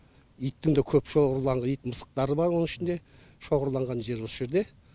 иттің де көп шоғырланып ит мысықтары бар оның ішінде шоғырланған жері осы жерде